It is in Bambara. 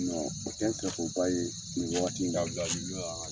tɛ n fɛko ba ye nin wagati in na